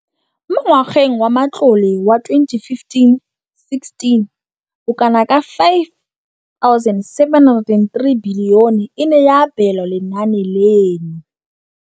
Mo ngwageng wa matlole wa 2015,16, bokanaka R5 703 bilione e ne ya abelwa lenaane leno.